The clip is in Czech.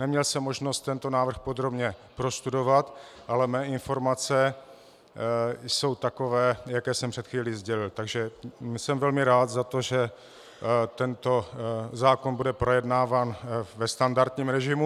Neměl jsem možnost tento návrh podrobně prostudovat, ale mé informace jsou takové, jaké jsem před chvílí sdělil, takže jsem velmi rád za to, že tento zákon bude projednáván ve standardním režimu.